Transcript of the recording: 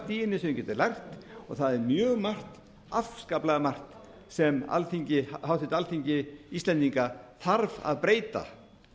í henni sem þeir geta lært og það er mjög margt afskaplega margt sem háttvirt alþingi íslendinga þarf að breyta